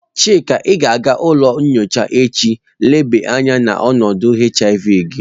Chika, I ga-aga n'ulo nyocha echi leba anya onodu HIV gi!